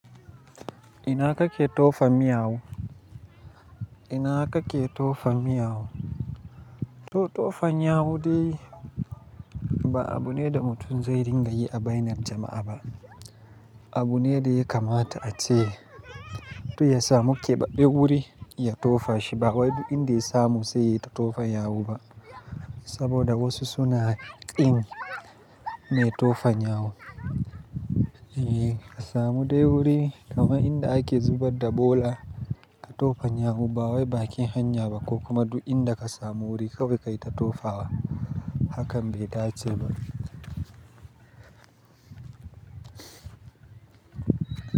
Ina kake tofa miyau? Ina kake tofa miyau? To, tofa nyawu dai ba abu ne da mu tun zai ringa yi a bainar jama'a ba. Abu ne da ya kamata a ce. To ya samu keɓaɓɓe wuri ya tofa shi ba wai duk in da ya samu sai ya tofa yawu ba. Saboda wasu suna ƙin me tofa nyawu. E, ka samu dai wuri, kama inda ake zubar da bola ka tofa nyawu ba wai bakin hanya ba ko kuma duk inda ka samu wuri kawai kai ta tofawa. Hakan bai dace ba.